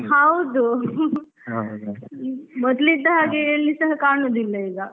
ಹೌದು. ಮೊದ್ಲ್ ಇದ್ದ ಹಾಗೆ ಎಲ್ಲಿ ಸಹ ಕಾಣುದಿಲ್ಲ ಈಗ.